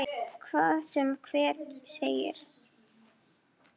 Hvað sem hver segir.